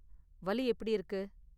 வலி எப்படி இருக்கு?